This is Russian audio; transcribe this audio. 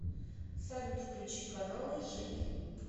салют включи каналы живи